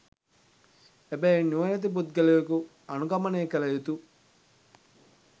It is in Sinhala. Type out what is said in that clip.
එබැවින් නුවණැති පුද්ගලයකු අනුගමනය කළ යුතු